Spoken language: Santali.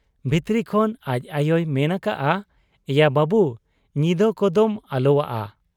ᱵᱷᱤᱛᱨᱤ ᱠᱷᱚᱱ ᱟᱡ ᱟᱭᱚᱭ ᱢᱮᱱ ᱟᱠᱟᱜ ᱟ, 'ᱮᱭᱟ ᱵᱟᱹᱵᱩ ! ᱧᱤᱫᱟᱹ ᱠᱚᱫᱚᱢ ᱟᱞᱚᱣᱟᱜ ᱟ ᱾